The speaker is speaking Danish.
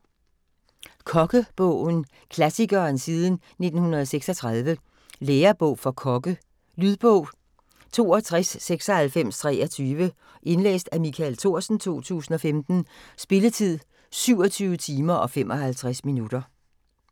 Kokkebogen: klassikeren siden 1936 Lærebog for kokke. Lydbog 629623 Indlæst af Michael Thorsen, 2015. Spilletid: 27 timer, 55 minutter.